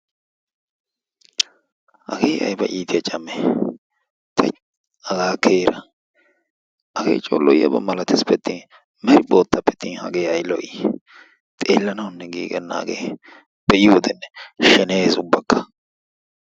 hagee ayba iitiyaa caamee! tiichi! hagaa keera. hagee coo lo'iyaaba malatesppe'atin meri boottappe atin hagee ay lo'ii! xeelanawunne giigenna hagee be'iyoodenne sheneyees ubbaka.